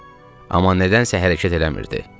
Amma nədənsə hərəkət eləmirdi.